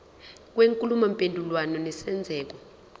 kwenkulumo mpendulwano nesenzeko